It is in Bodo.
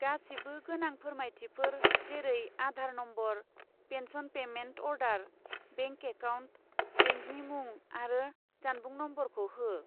गासिबो गोनां फोरमायथिफोर जेरै Aadhaar number, pension payment order, bank account, बेंकनि मुं आरो जानबुं नम्बरखौ हो।